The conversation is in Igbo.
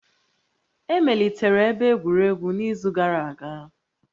Emelitere ebe egwuregwu n'izu gara aga